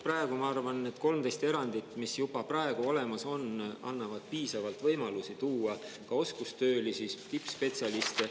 Praegu, ma arvan, need 13 erandit, mis juba praegu olemas on, annavad piisavalt võimalusi tuua ka oskustöölisi, tippspetsialiste.